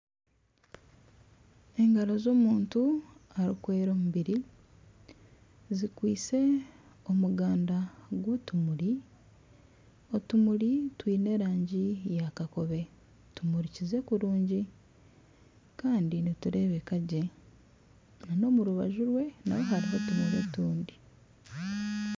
Engaro za omuntu arikwera omubiri zikwitse omuganda gw'otumuri. Otumuri twiine erangi ya kakobe tumurikize kurungi kandi niturebeka gye nana omurubaju rwe naho hariho otumuri otundi.